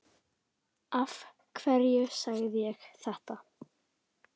Af hverju segi ég þetta?